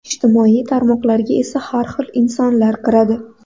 Ijtimoiy tarmoqlarga esa har xil insonlar kiradi.